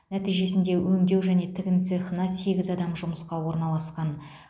нәтижесінде өңдеу және тігін цехына сегіз адам жұмысқа орналасқан